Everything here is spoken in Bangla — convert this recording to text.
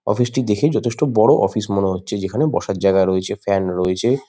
অফিস -টি দেখে যথেষ্ট বড় অফিস মনে হচ্ছে যেখানে বসার জায়গা রয়েছে ফ্যান রয়েছে।